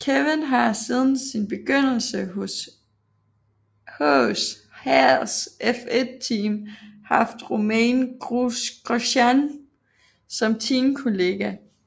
Kevin har siden sin begyndelse hos Haas F1 Team haft Romain Grosjean som teamkollega